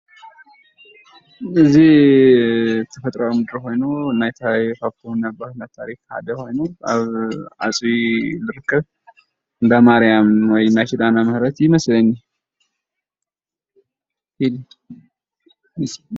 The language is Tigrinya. እዚ ተፈጥራኣዊ ምድሪ ኾይኑ ናይ ታሪኽ ነባር ታሪኽ ሓደ ኾይኑ አብ ዓፅቢ እዩ ዝርከብ፡፡ እንዳ ማርያም ወይእንዳ ኪዳነ ምህረት እዩ ይመስለኒ፡፡